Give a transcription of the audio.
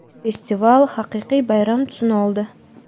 Festival haqiqiy bayram tusini oldi.